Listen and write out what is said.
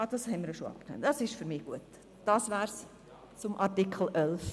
– Ach so, das haben wir schon erwähnt.